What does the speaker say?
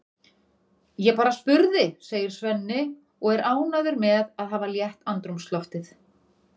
Ég bara spurði, segir Svenni og er ánægður með að hafa létt andrúmsloftið.